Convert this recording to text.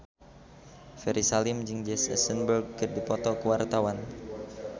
Ferry Salim jeung Jesse Eisenberg keur dipoto ku wartawan